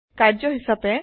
কাৰ্য্য হিচাপে